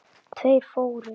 Tveir fórust.